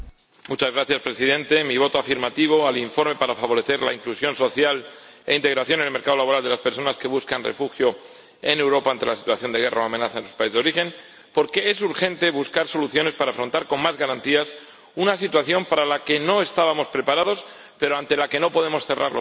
Señor Presidente, he votado a favor del informe, a fin de favorecer la inclusión social e integración en el mercado laboral de las personas que buscan refugio en Europa ante la situación de guerra o amenaza en su país de origen, porque es urgente buscar soluciones para afrontar con más garantías una situación para la que no estábamos preparados, pero ante la que no podemos cerrar los ojos.